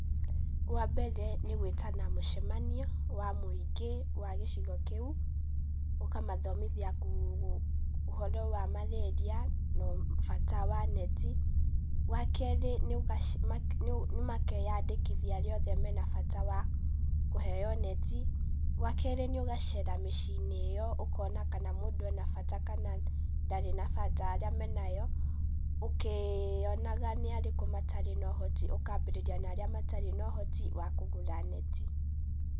Wa mbere nĩ gwĩtana mũcemanio wa mũingĩ wa gĩcigo kĩu. Ũkamathomithia ũhoro wa Marĩria, na bata wa neti, wa kerĩ nĩ makeyandĩkithia arĩa othe mena bata wa kũheo neti. Wa kerĩ nĩ ũgacera mĩciĩ-inĩ ĩyo ũkona kana mũndũ ena bata kana ndarĩ na bata, arĩa menayo, ũkionaga nĩ arĩkũ matarĩ na ũhoti ũkambĩrĩria na arĩa matarĩ na ũhoti wa kũgũra neti.